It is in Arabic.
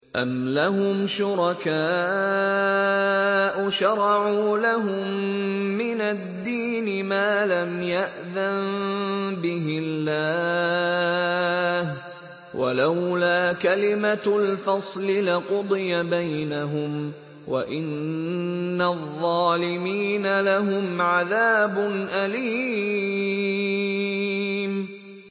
أَمْ لَهُمْ شُرَكَاءُ شَرَعُوا لَهُم مِّنَ الدِّينِ مَا لَمْ يَأْذَن بِهِ اللَّهُ ۚ وَلَوْلَا كَلِمَةُ الْفَصْلِ لَقُضِيَ بَيْنَهُمْ ۗ وَإِنَّ الظَّالِمِينَ لَهُمْ عَذَابٌ أَلِيمٌ